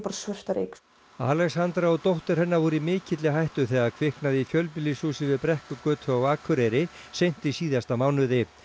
svört af reyk Alexandra og dóttir hennar voru í mikilli hættu þegar kviknaði í fjölbýlishúsi við Brekkugötu á Akureyri seint í síðasta mánuði